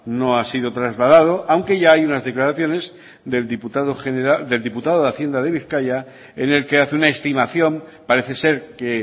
no ha sido trasladado aunque ya hay unas declaraciones del diputado de hacienda de bizkaia en el que hace una estimación parece ser que